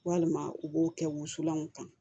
Walima u b'o kɛ wusulanw kan